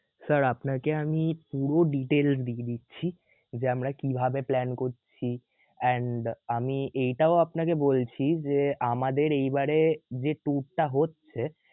sir আপনাকে আমি পুরো details দিয়ে দিচ্ছি, যে আমরা কিভাবে plan করছি and আমি এইটাও আপনাকে বলছি যে আমাদের এইবারে যে tour টা হচ্ছে